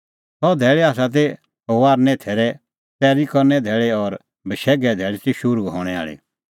सह धैल़ी ती फसहे थैरे तैरीए धैल़ी और बशैघे धैल़ी ती शुरू हणैं आल़ी